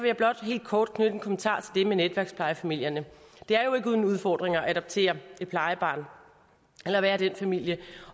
jeg blot helt kort knytte en kommentar det med netværksplejefamilierne det er jo ikke uden udfordringer at adoptere et plejebarn eller at være den familie